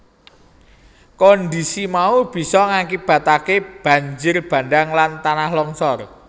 Kondhisi mau bisa ngakibataké banjir bandhang lan tanah longsor